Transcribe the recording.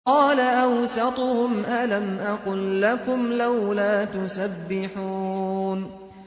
قَالَ أَوْسَطُهُمْ أَلَمْ أَقُل لَّكُمْ لَوْلَا تُسَبِّحُونَ